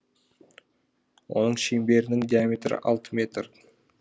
оның шеңберінің диаметрі алты метр